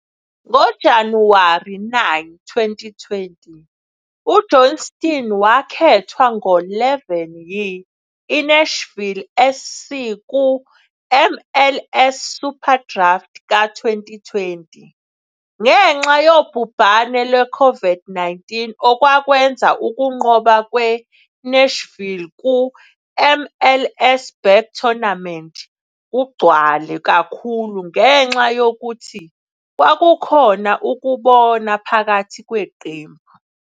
NgoJanuwari 9, 2020, uJohnston wakhethwa ngo-11 yi-INashville SC ku-MLS SuperDraft ka-2020. Ngenxa yobhubhane lwe-COVID-19, okwakwenza ukunqoba kwe-Nashville ku-MLS Back Tournament kugcwele kakhulu ngenxa yokuthi kwakukhona ukubona phakathi kweqembu.